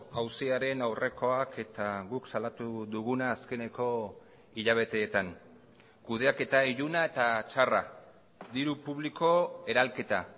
auziaren aurrekoak eta guk salatu duguna azkeneko hilabeteetan kudeaketa iluna eta txarra diru publiko eralketa